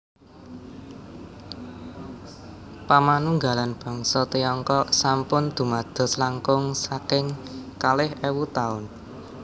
Pamanunggalan bangsa Tiongkok sampun dumados langkung saking kalih éwu taun